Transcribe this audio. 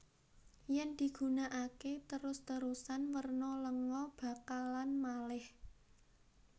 Yen digunakake terus terusan werna lenga bakalan maleh